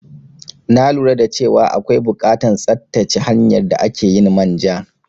Na lura dace wa akwai bukatan tsattace hanyar da akeyin manja